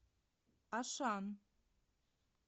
ашан